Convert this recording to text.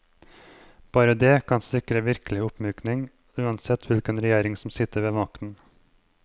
Bare dét kan sikre en virkelig oppmyking, uansett hvilken regjering som sitter ved makten.